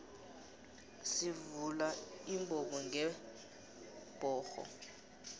sivula imbobongebhoxo